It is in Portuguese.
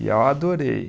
E eu adorei.